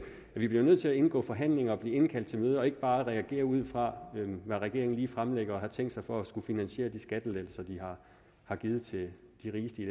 vi bliver nødt til at indgå forhandlinger og blive indkaldt til møder og ikke bare reagere ud fra hvad regeringen lige fremlægger og har tænkt sig for at finansiere de skattelettelser de har har givet til de rigeste i